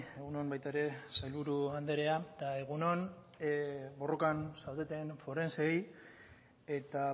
egun on baita ere sailburu anderea eta egun on borrokan zaudeten forenseei eta